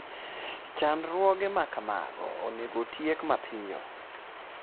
Chandruoge ma kamago onego otiek mapiyo.